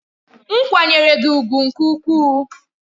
M kwanyere gi ugwu nke ukwuu.